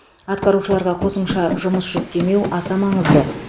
атқарушыларға қосымша жұмыс жүктемеу аса маңызды